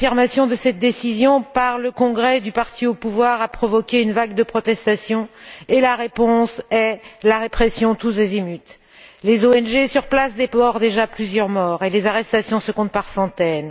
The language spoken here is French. La confirmation de cette décision par le congrès du parti au pouvoir a provoqué une vague de protestations et la réponse apportée est une répression tous azimuts. Les ONG sur place déplorent déjà plusieurs morts et les arrestations se comptent par centaines.